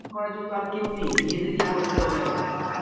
করার জন্য তো কেউ নেই নিজেদেরকেই করতে হবে এখন